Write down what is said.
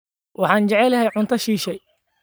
Waxaan jeclahay cunto shisheeye